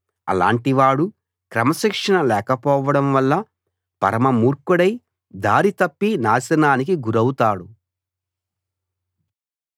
అలాంటివాడు క్రమశిక్షణ లేకపోవడం వల్ల పరమ మూర్ఖుడై దారి తప్పి నాశనానికి గురౌతాడు